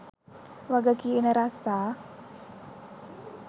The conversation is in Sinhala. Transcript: වග කියන රස්සා.